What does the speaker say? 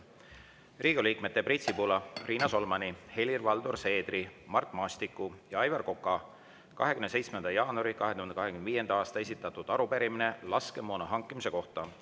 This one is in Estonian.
Riigikogu liikmete Priit Sibula, Riina Solmani, Helir-Valdor Seedri, Mart Maastiku ja Aivar Koka 27. jaanuaril 2025. aastal esitatud arupärimine laskemoona hankimise kohta.